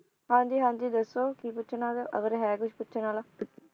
ਹਾਂ ਜੀ ਹਾਂ ਜੀ ਦੱਸੋ ਕੀ ਪੁਛਣਾ ਹੈਗਾ ਅਗਰ ਹੈ ਕੁਝ ਪੁੱਛਣ ਵਾਲਾ?